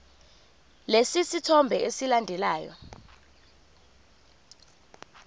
lesi sithombe esilandelayo